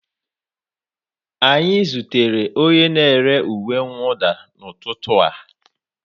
Anyị zutere onye na-ere uwe mwụda n'ụtụtụ a